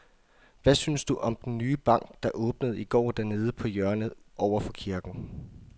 Hvad synes du om den nye bank, der åbnede i går dernede på hjørnet over for kirken?